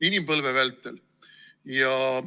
Inimpõlve vältel!